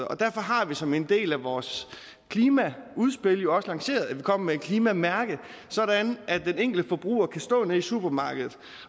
og derfor har vi som en del af vores klimaudspil også lanceret at vi kommer med et klimamærke sådan at den enkelte forbruger kan stå nede i supermarkedet